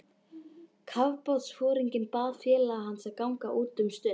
Kafbátsforinginn bað félaga hans að ganga út um stund.